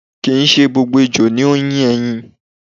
Kì í ṣe gbogbo ejò ni ó ń yé ẹyin.